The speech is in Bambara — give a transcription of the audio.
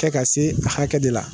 kɛ ka se hakɛ de la.